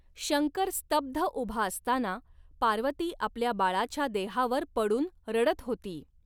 शंकर स्तब्ध उभा असताना पार्वती आपल्या बाळाच्या देहावर पडून रडत होती.